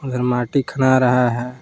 उधर माटी खना रहा है।